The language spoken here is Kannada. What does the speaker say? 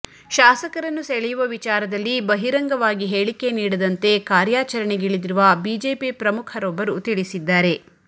ಶಾಸಕರನ್ನು ಸೆಳೆಯುವ ವಿಚಾರದಲ್ಲಿ ಬಹಿರಂಗವಾಗಿ ಹೇಳಿಕೆ ನೀಡದಂತೆ ಕಾರ್ಯಾಚರಣೆಗಿಳಿದಿರುವ ಬಿಜೆಪಿ ಪ್ರಮುಖರೊಬ್ಬರು ತಿಳಿಸಿದ್ದಾರೆ